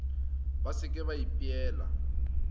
ba se ke ba ipeela